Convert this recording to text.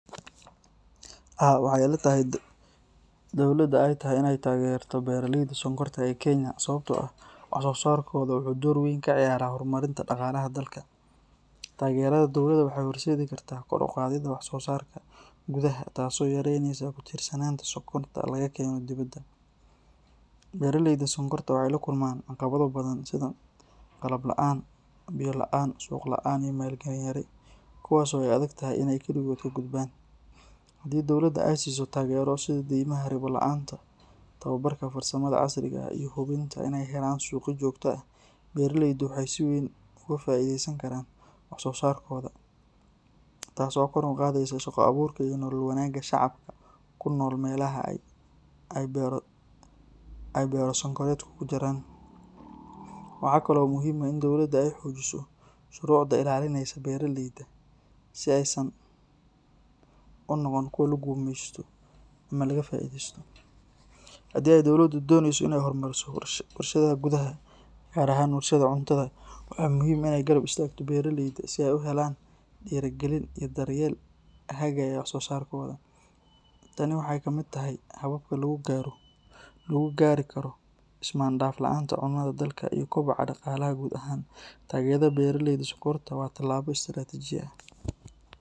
Haa, waxay ila tahay in dowladda ay tahay in ay taageerto beeraleyda sonkorta ee Kenya sababtoo ah wax-soo-saarkooda wuxuu door weyn ka ciyaaraa horumarinta dhaqaalaha dalka. Taageerada dowladda waxay horseedi kartaa kor u qaadidda wax-soo-saarka gudaha taasoo yaraynaysa ku tiirsanaanta sonkorta laga keeno dibadda. Beeraleyda sonkorta waxay la kulmaan caqabado badan sida qalab la’aan, biyo la’aan, suuq la’aan iyo maalgelin yari, kuwaasoo ay adag tahay in ay kaligood ka gudbaan. Haddii dowladda ay siiso taageero sida daymaha ribo la’aanta ah, tababarka farsamada casriga ah iyo hubinta in ay helaan suuqyo joogto ah, beeraleydu waxay si weyn uga faa’iidaysan karaan wax-soo-saarkooda, taasoo kor u qaadaysa shaqo abuurka iyo nolol wanaagga shacabka ku nool meelaha ay beero sonkoreedku ka jiraan. Waxaa kale oo muhiim ah in dowladda ay xoojiso shuruucda ilaalinaysa beeraleyda si aysan u noqon kuwo la gumeysto ama laga faa’iidaysto. Haddii ay dowladdu dooneyso in ay horumariso warshadaha gudaha, gaar ahaan warshadaha cuntada, waxaa muhiim ah in ay garab istaagto beeraleyda si ay u helaan dhiirrigelin iyo daryeel hagaya wax-soo-saarkooda. Tani waxay ka mid tahay hababka lagu gaari karo is-maandhaaf la’aanta cunnada dalka iyo koboca dhaqaalaha guud ahaan. Taageerada beeraleyda sonkorta waa tallaabo istiraatiiji ah.